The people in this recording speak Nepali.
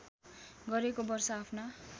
गरेको वर्ष आफ्ना